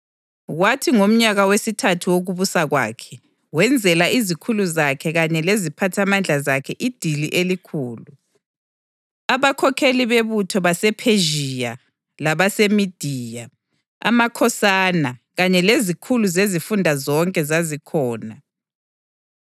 kwathi ngomnyaka wesithathu wokubusa kwakhe, wenzela izikhulu zakhe kanye leziphathamandla zakhe idili elikhulu. Abakhokheli bebutho basePhezhiya labaseMediya, amakhosana, kanye lezikhulu zezifunda zonke zazikhona.